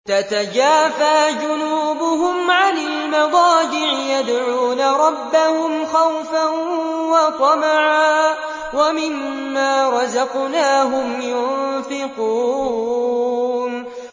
تَتَجَافَىٰ جُنُوبُهُمْ عَنِ الْمَضَاجِعِ يَدْعُونَ رَبَّهُمْ خَوْفًا وَطَمَعًا وَمِمَّا رَزَقْنَاهُمْ يُنفِقُونَ